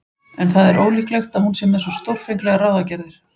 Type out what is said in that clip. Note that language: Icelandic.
En það er ólíklegt að hún sé með svo stórfenglegar ráðagerðir.